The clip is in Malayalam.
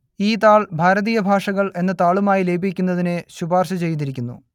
ഈ താൾ ഭാരതീയ ഭാഷകൾ എന്ന താളുമായി ലയിപ്പിക്കുന്നതിന് ശുപാർശ ചെയ്തിരിക്കുന്നു